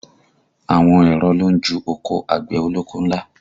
Àwọn èrọ ló ń ju oko àgbẹ̀ ọlọ́kọ́ ńlá